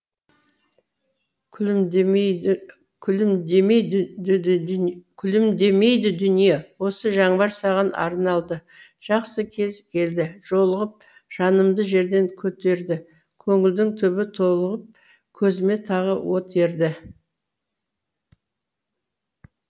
күлімдемейдідүние осы жаңбыр саған арналады жақсы кез келдіжолығып жанымды жерден көтерді көңілдің түбі толығып көзіме тағы от ерді